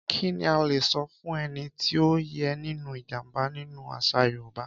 Kí ni a lè sọ fún ẹni tí ó yè nínú ìjàm̀bá nínú àṣà Yorùbá?